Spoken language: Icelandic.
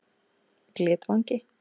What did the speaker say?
Glitvangi